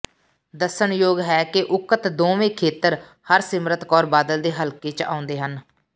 ਦੱਸਣਯੋਗ ਹੈ ਕਿ ਉਕਤ ਦੋਵੇਂ ਖੇਤਰ ਹਰਸਿਮਰਤ ਕੌਰ ਬਾਦਲ ਦੇ ਹਲਕੇ ਚ ਆਉਂਦੇ ਹਨ